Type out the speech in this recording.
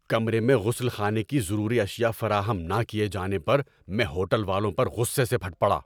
کمرے میں غسل خانے کی ضروری اشیاء فراہم نہ کیے جانے پر میں ہوٹل والوں پر غصے سے پھٹ پڑا۔